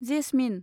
jasmine